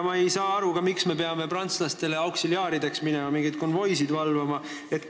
Ma ei saa aru, miks me peame prantslastele auksiliaarideks minema, mingeid konvoisid valvama.